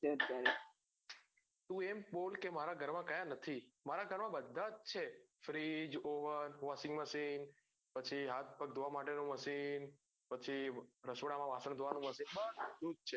છે તું એમ બોલ કે મારા ઘર માં કયા નથી મારા ઘર આ બધા જ છે freeze oven washing machine પછી હાથ પગ ધોવા માટે નું machine પછી રસોડા માં વાસણ ધોવા નું machine બધું જ છે.